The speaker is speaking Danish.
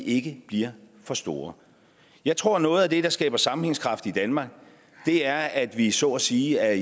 ikke bliver for store jeg tror at noget af det der skaber sammenhængskraft i danmark er at vi så at sige er